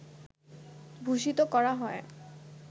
ভূষিত করা হয়